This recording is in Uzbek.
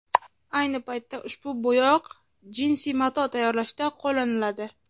Ayni paytda ushbu bo‘yoq jinsi mato tayyorlashda qo‘llaniladi.